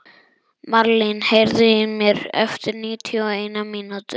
Marlín, heyrðu í mér eftir níutíu og eina mínútur.